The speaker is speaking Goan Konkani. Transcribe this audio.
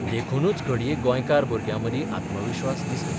देखूनच घडये गौंयकार भुरग्यामदीं आत्मविस्वास दिसना.